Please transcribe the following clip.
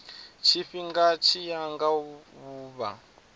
tshifhinga tshi ya nga vhuvha